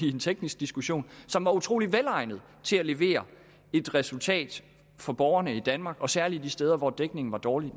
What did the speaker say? en teknisk diskussion som var utrolig velegnet til at levere et resultat for borgerne i danmark og særlig de steder hvor dækningen var dårlig og